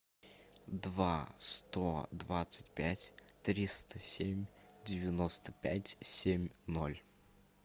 два сто двадцать пять триста семь девяносто пять семь ноль